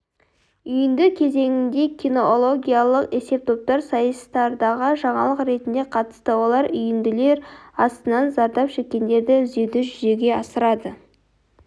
үйінді кезеңінде кинологиялық есептоптар сайыстардағы жаңалық ретінде қатысты олар үйінділер астынан зардап шеккендерді іздеуді жүзеге асырды